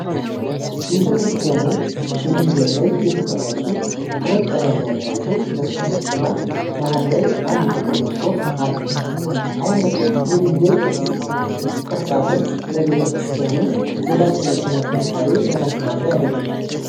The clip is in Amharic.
ቤተክርስቲያኑ በድንጋይ ላይ የተቀረጹ ሁለት ቀዳዳ ያላቸው መስቀሎች እና መሃል ላይ አንድ ጥቁር መስኮት አለው። አይነቱ የድንጋይ ቅርፃቅርፅ ለቤተክርስቲያኑ ዘላቂነትና ጥንካሬ ምን አስተዋጽኦ ያደርጋል?